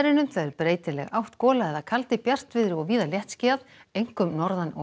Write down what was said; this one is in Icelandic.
breytileg átt gola eða kaldi bjartviðri og víða léttskýjað einkum norðan og